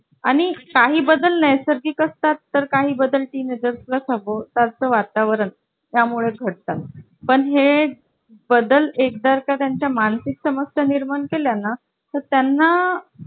अजून अजून एक gas ची शेगडी आहे